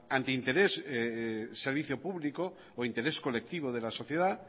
antinterés servicio público o interés colectivo de la sociedad